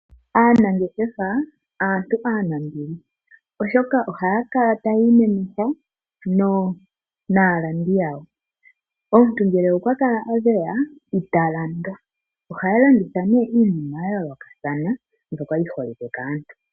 Aanangeshefa aantu aanambili oshoka oha ya kala ta ya imemeha naalandi yawo omuntu ngele okwa kala a geya italandwa. oha ya landitha iinima ya yoolokathana mbyoka yi holike kaantu.